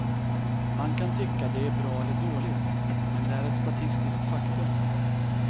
Man kan tycka det är bra eller dåligt, men det är ett statistiskt faktum.